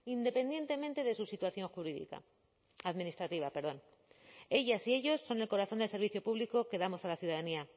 independientemente de su situación jurídica administrativa perdón ellas y ellos son el corazón del servicio público que damos a la ciudadanía